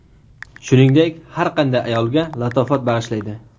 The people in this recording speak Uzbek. Shuningdek, har qanday ayolga latofat bag‘ishlaydi.